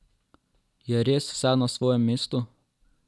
Je res vse na svojem mestu?